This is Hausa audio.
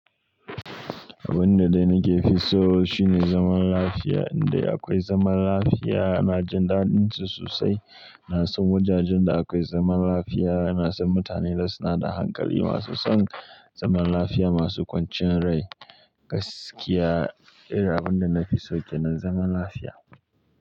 Abin da dai nakefi so shi ne zaman lafiya, indai akwai zaman lafiya na jin daɗin su sosai. Na san wajajen da akwai zaman lafiya, na san mutane da suna da hankali masu son zaman lafiya, masu kwanciyar rai gaskiya. Abin da na fi so ke nan zaman lafiya.